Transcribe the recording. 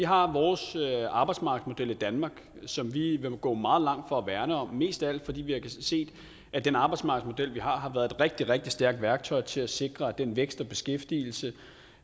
vi har vores arbejdsmarkedsmodel i danmark som vi vil gå meget langt for at værne om mest af alt fordi vi har set at den arbejdsmarkedsmodel vi har har været et rigtig rigtig stærkt værktøj til at sikre at den vækst og beskæftigelse